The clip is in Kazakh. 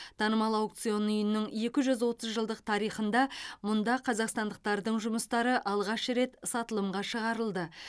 танымал аукцион үйінің екі жүз отыз жылдық тарихында мұнда қазақстандықтардың жұмыстары алғаш рет сатылымға шығарылды